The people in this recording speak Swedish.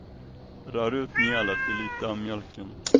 Rör ut mjölet i lite av mjölken.